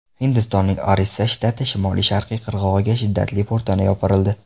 Hindistonning Orissa shtati shimoli-sharqiy qirg‘og‘iga shiddatli po‘rtana yopirildi.